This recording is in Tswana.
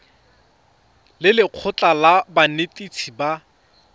le lekgotlha la banetetshi ba